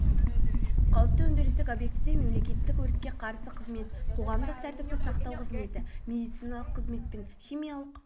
қауіпті өндірістік объектіде мемлекеттік өртке қарсы қызмет қоғамдық тәртіпті сақтау қызметі медициналық қызмет пен химиялық